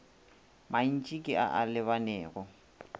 mantši ke a a lebanego